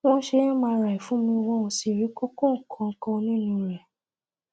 wọn ṣe mri fún mi wọn ò sì rí kókó kankan nínú rẹ